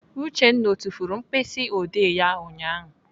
Uchenna ọ tufuru mkpịsịodee ya ụnyaahụ?